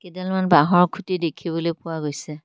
কেইডালমান বাঁহৰ খুঁটি দেখিবলৈ পোৱা গৈছে।